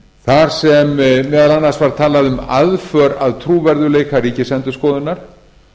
þar sem meðal annars var fjallað um aðför að trúverðugleika ríkisendurskoðunar